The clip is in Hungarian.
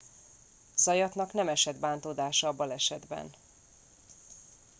zayatnak nem esett bántódása a balesetben